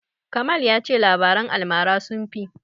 Kamal ya ce labaran almara sun fi.